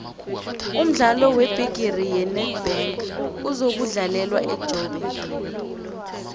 umdlalo webhigiri yenedbank uzokudlalelwa ejoburg